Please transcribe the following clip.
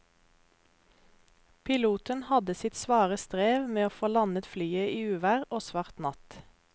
Piloten hadde sitt svare strev med å få landet flyet i uvær og svart natt.